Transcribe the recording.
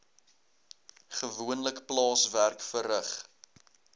gewoonlik plaaswerk verrig